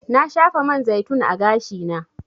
Na shafa man zaitun a gashi na.